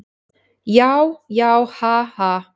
Já, já, ha, ha.